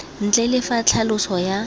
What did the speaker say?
ntle le fa tlhaloso ya